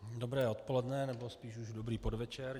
Dobré odpoledne, nebo spíš už dobrý podvečer.